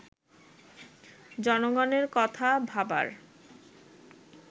জনগণের কথা ভাবার